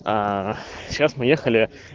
аа сейчас мы ехали